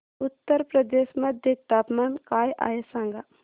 उत्तर प्रदेश मध्ये तापमान काय आहे सांगा